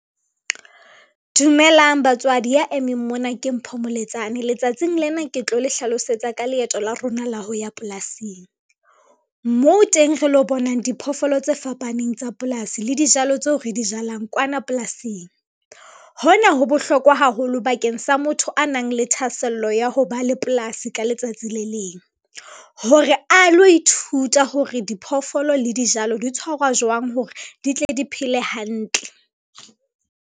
Dumelang batswadi ya emeng mona ke Mpho Moletsane letsatsing lena ke tlo le hlalosetsa ka leeto la rona la ho ya polasing, moo teng re lo bonang diphoofolo tse fapaneng tsa polasi le dijalo tseo re di jalang kwana polasing. Hona ho bohlokwa haholo bakeng sa motho a nang le thahasello ya ho ba le polasi ka letsatsi le leng, hore a lo ithuta hore diphoofolo le dijalo di tshwarwa jwang hore di tle di phele hantle.